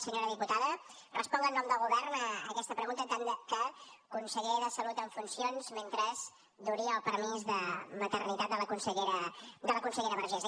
senyora diputada responc en nom del govern a aquesta pregunta en tant que conseller de salut en funcions mentre duri el permís de maternitat de la consellera vergés